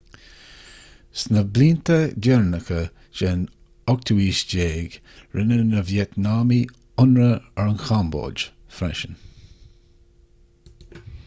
sna blianta deireanacha den 18ú haois rinne na vítneamaigh ionradh ar an chambóid freisin